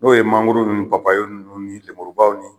N'o ye mangoro ni papaye nunnu ni lenmurubaw ni